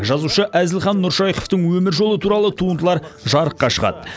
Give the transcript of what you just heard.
жазушы әзілхан нұршайықовтың өмір жолы туралы туындылар жарыққа шығады